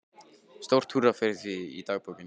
Stórt húrra fyrir því í dagbókinni.